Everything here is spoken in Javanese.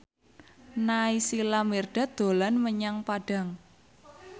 Naysila Mirdad dolan menyang Padang